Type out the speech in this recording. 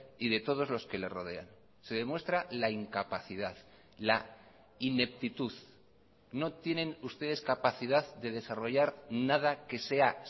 y de todos los que le rodean se demuestra la incapacidad la ineptitud no tienen ustedes capacidad de desarrollar nada que sea